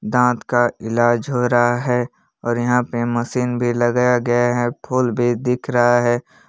दांत का इलाज हो रहा है और यहां पे मशीन भी लगाया गया है फूल भी दिख रहा है।